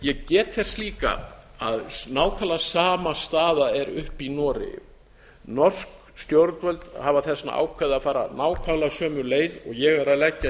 ég get þess líka að nákvæmlega sama staða er uppi í noregi lok stjórnvöld hafa þess vegna ákveðið að fara nákvæmlega sömu leið og ég er að leggja